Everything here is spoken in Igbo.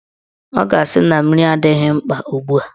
Ọ ga-asị na mmiri adịghị mkpa ugbua